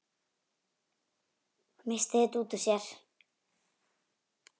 Missti þetta út úr sér.